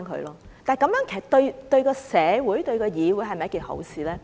然而，這樣對社會、對議會是否一件好事呢？